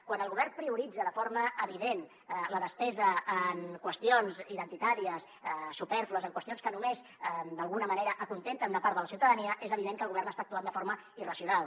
quan el govern prioritza de forma evident la despesa en qüestions identitàries supèrflues en qüestions que només d’alguna manera acontenten una part de la ciutadania és evident que el govern està actuant de forma irracio nal